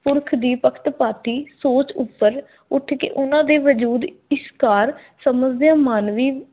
ਪੁਰਖ ਦੀ ਪਖਤਪਾਤੀ ਸੋਚ ਉਪਰ ਉੱਠ ਕੇ ਉਹਨਾਂ ਦੇ ਵਜੂਦ ਇਸ ਪਾਰ ਸਮਜਦਿਆਂ ਮਾਨਵੀ